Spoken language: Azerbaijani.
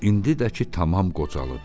İndi də ki, tamam qocalıb.